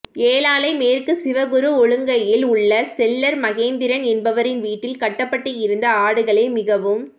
ஏழாலை மேற்கு சிவகுரு ஒழங்கையில் உள்ள செல்லர் மகேந்திரன் என்பவரின் வீட்டில் கட்டப்பட்டு இருந்த ஆடுகளே மிகவும்